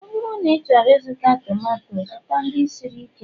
ọ bụrụ na ịchọrọ ịzụta tomato, zụta ndị siri ike